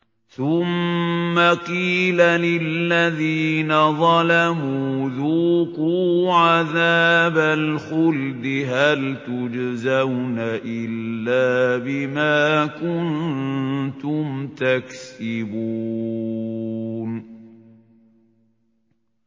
ثُمَّ قِيلَ لِلَّذِينَ ظَلَمُوا ذُوقُوا عَذَابَ الْخُلْدِ هَلْ تُجْزَوْنَ إِلَّا بِمَا كُنتُمْ تَكْسِبُونَ